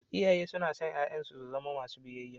Iyaye suna son 'ya'yansu su zama masu biyayya.